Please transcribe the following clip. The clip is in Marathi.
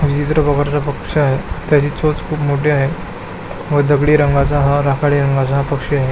विचित्र प्रकारचा पक्षी आहे त्याची चोच खुप मोठी आहे व दगडी रंगाचा राखाडी रंगाचा हा पक्षी आहे.